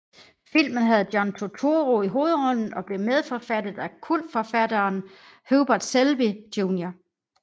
Filmen havde John Turturro i hovedrollen og blev medforfattet af kultforfatteren Hubert Selby Jr